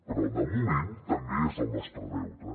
però de moment també és el nostre deute